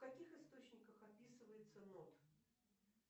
в каких источниках описывается нот